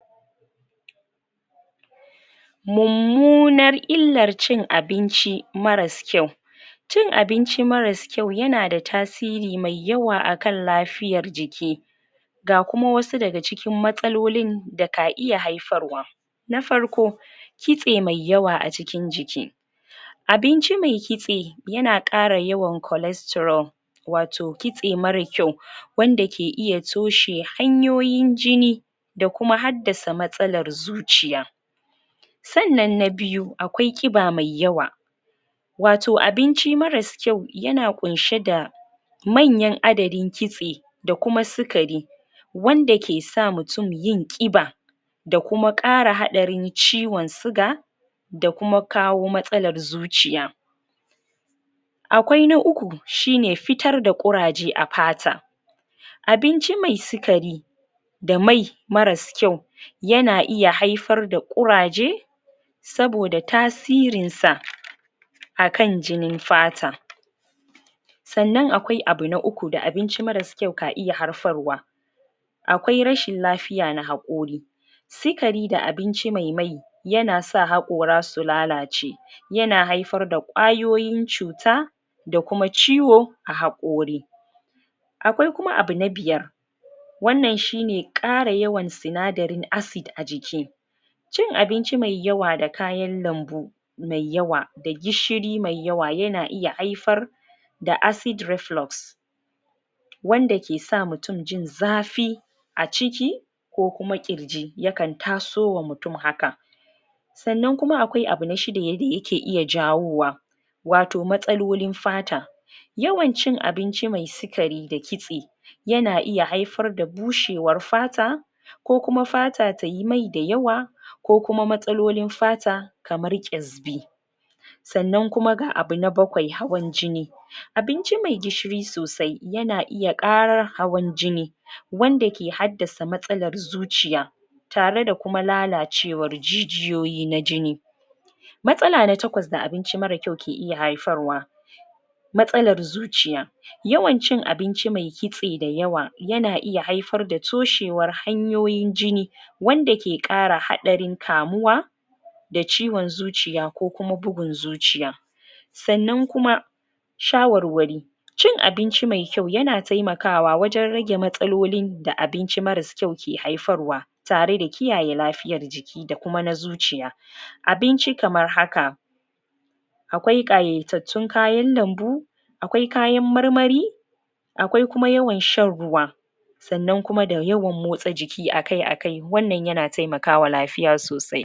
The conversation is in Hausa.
Mummunar illar cin abinci marars kwau Cin abinci marars kwau yana da tasiri mai yawa a kan lafiyar jiki Ga kuma wasu daga cikin matsalolin Daka iya haifarwa Na farko Kitse mai yawa a jikin jiki Abinci mai kitse Yana kara yawan cholesterol Wato kitse marar kwau Wanda ke iya toshe hanyoyin jini Da kuma haddasa matsalar zuciya Kannan na biyu akwai ƙiba mai yawa Wato abinci marars kwau yana kwunshe da Manyan adadin kitse Da kuma sikari Wanda kesa mutum yin ƙiba Da kuma ƙara hadarin ciwon siga Da kuma kawo matsalar zuciya Akwai na uku Shine fitar da ƙuraje a fata Abinci mai sikari Da mai marars kwau Yana iya haifar da kuraje Saboda tasirin sa Akan jinin fata Sannan akwai abu na uku da abinci marars kwau kan iya harfarwa Akwai rashin lafiya na haƙori Sikari da abinci mai mai Yana sa haƙora su lalace Yana haifar da kwayoyin cuta Da kuma ciwo A haƙori Akwai kuma abu na biyar Wannan shine ƙara yawan sinadarin acid a jiki Cin abinci mai yawa da kayan lambu Mai yawa da gishiri mai yawa yana iya haifar, Da acid reflox's Wanda kesa mutum jin zafi A ciki, Ko kuma ƙirji yakan taso ma mutum haka Sannan kuma akwai abu na shida da yake jawowa Wato matsalolin fata Yawan cin abinci mai sikari da kitse Yana iya haifar da bushewar fata Kokuma fata dayi mai da yawa Ko kuma matsalolin fata Kamar ƙesbi Sannan kuma ga abu na bakwai, hawan jini Abinci mai gishiri sosai yana iya karar hawan jini Wanda ke haddasa matsalar zuciya Tare da kuma lalacewar jijiyoyi na jini Matsala na takwas da abinci marar kwau ke iya haifar wa Matsalar zuciya Yawan cin abinci mai kitse da yawa Yana iya haifar da matsalar toshewar hanyoyi jini Wanda ke kara hadarin kamuwa Da ciwon zuciya kokuma bugun zuciya Sannan kuma Shawarwari Cin abinci mai kwau yana taimakawa wajen rage matsalolin Da abinci marars kwau ke haifar wa Tare da kiyaye lafiyar jiki da kuma na zuciya Abinci kamar haka Akwai kayatattun kayan lambu Akwai kayan marmari Akwai kuma yawan shan ruwa Sannan kuma da yawan motsa jiki akai a kai wannan yana taimakawa lafiya sosai